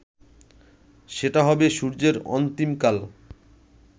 সেটা হবে সূর্যের অন্তিমকাল